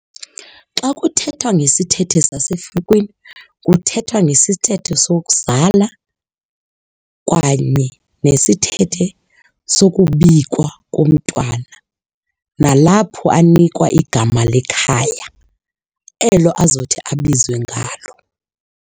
Xa kuthethwa ngesithethe sasefukiwini kuthethwa ngesithethe sokuzala kanye nesithethe sokubikwa komntwana nalapho anikwa igama lekhaya elo azothi abizwe ngalo.